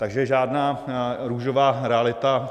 Takže žádná růžová realita.